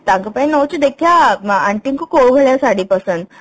ତାଙ୍କ ପାଇଁ ଦେଖିବା Aunty ଙ୍କୁ କୋଉ ଭଳିଆ ଶାଢ଼ୀ ପସନ୍ଦ